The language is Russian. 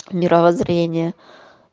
мировоззрение